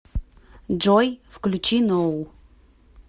джой включи ноу